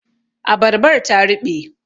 Abarbar ta ruɓe